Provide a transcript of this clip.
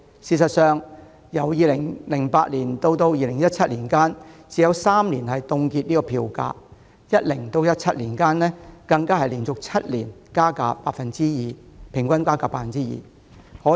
事實上，由2008年至2017年間，港鐵只有3年曾凍結票價；在2010年至2017年間更連續7年加價，平均加幅 2%， 可謂只加不減。